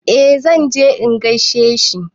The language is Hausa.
Eh zan je in gaishe shi.